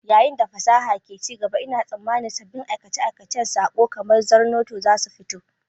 Yayin da fasaha ke ci gaba, ina tsammanin sabbin aikace-aikacen saƙo kamar Zornoto za su fito.